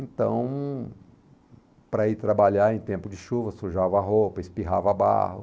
Então, para ir trabalhar em tempo de chuva, sujava a roupa, espirrava barro.